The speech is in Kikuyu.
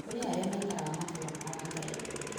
kũrĩ arĩa maikaraga matũra mao hatarĩ andũ angĩ